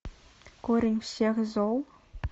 корень всех зол